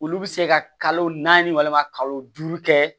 Olu bɛ se ka kalo naani walima kalo duuru kɛ